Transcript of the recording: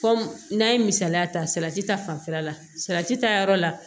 n'an ye misaliya ta salati ta fanfɛla la salati ta yɔrɔ la